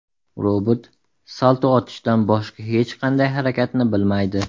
Robot salto otishdan boshqa hech qanday harakatni bilmaydi.